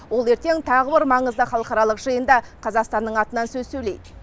ол ертең тағы бір маңызды халықаралық жиында қазақстанның атынан сөз сөйлейді